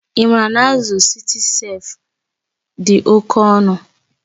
Ị maara na azụ Citicef dị oke ọnụ?